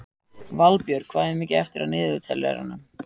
Valbjörg, hvað er mikið eftir af niðurteljaranum?